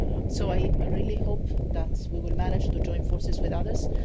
So I really hope that we will manage to join forces with others.